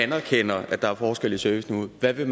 anerkender at der er forskelle i serviceniveauet hvad vil